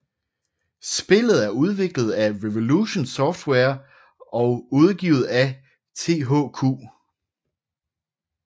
Spillet er udviklet af Revolution Software og udgivet af THQ